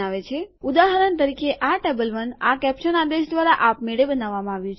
ઉદાહરણ તરીકે અહીં ટેબલ ૧ આ કેપ્સન આદેશ દ્વારા આપમેળે બનાવવામાં આવ્યું છે